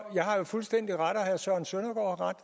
jeg har jo fuldstændig ret og herre søren søndergaard